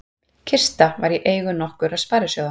Kista var í eigu nokkurra sparisjóða